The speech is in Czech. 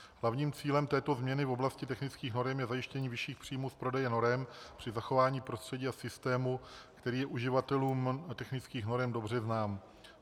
Hlavním cílem této změny v oblasti technických norem je zajištění vyšších příjmů z prodeje norem při zachování prostředí a systému, který je uživatelům technických norem dobře znám.